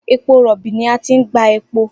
Epo robi ni a ti n gba epo.